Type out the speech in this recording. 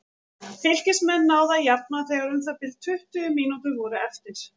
Fylkismenn náðu að jafna þegar um það bil tuttugu mínútur voru eftir.